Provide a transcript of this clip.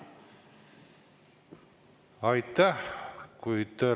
Aitäh!